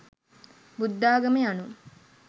බුද්ධාගම යනු